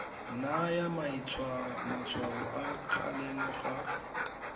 naya matshwao a kgalemo ga